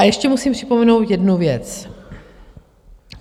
A ještě musím vzpomenout jednu věc.